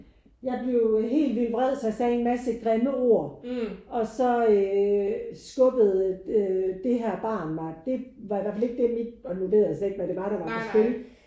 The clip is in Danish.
Jeg blev helt vild vred så jeg sagde en masse grimme ord og så øh skubbede det her barn mig. Det var i hvert fald ikke det mit og nu ved jeg slet ikke hvad det var der var på spil